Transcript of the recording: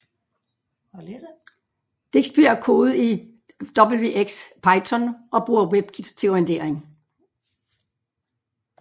Digsby er kodet i wxPython og bruger Webkit til rendering